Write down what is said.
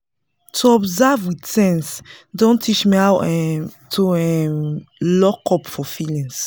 to observe with sense don teach me how um to um lockup for feelings